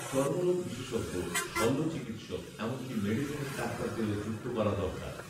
চর্মরোগ বিশেষজ্ঞ, শল্য চিকিৎসক এমনকী মেডিসিনের ডাক্তারদেরও যুক্ত করা দরকার